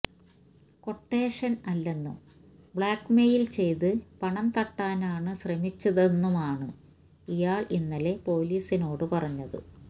ക്വട്ടേഷന് അല്ലെന്നും blackmail ചെയ്ത് പണം തട്ടാനാണ് ശ്രമിച്ചതെന്നുമാണ് ഇയാള് ഇന്നലെ പൊലീസിനോട് പറഞ്ഞത്